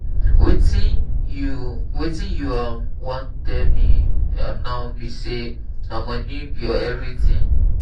wetin you wetin you um wan tell me um now be say na money be your everything.